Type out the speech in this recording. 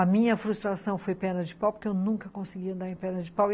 A minha frustração foi perna de pau, porque eu nunca conseguia andar em perna de pau.